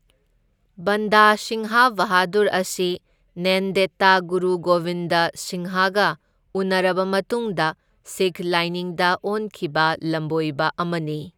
ꯕꯟꯗꯥ ꯁꯤꯡꯍ ꯕꯍꯥꯗꯨꯔ ꯑꯁꯤ ꯅꯦꯟꯗꯦꯗꯇꯥ ꯒꯨꯔꯨ ꯒꯣꯕꯤꯟꯗ ꯁꯤꯡꯍꯒ ꯎꯅꯔꯕ ꯃꯇꯨꯡꯗ ꯁꯤꯈ ꯂꯥꯏꯅꯤꯡꯗ ꯑꯣꯟꯈꯤꯕ ꯂꯝꯕꯣꯏꯕ ꯑꯃꯅꯤ꯫